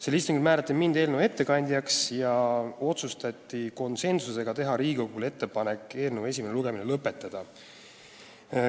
Sellel istungil määrati mind eelnõu ettekandjaks ja otsustati konsensusega teha Riigikogule ettepanek eelnõu esimene lugemine lõpetada.